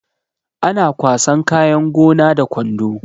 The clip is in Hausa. Ana kwasan kayan gona da kwando